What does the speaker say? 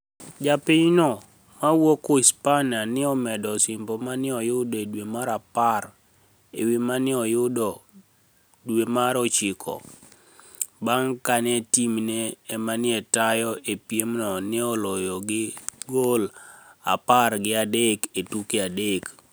Ja piniy no mawuok Uhispaniia ni e omedo osimbo ma ni e oyudo e dwe mar apar e wi manoyudo e dwe mar ochiko, banig ' kani e timni e ma ni e tayo e piemno ni e oloyo gi gol apar gi adek e tuke adek.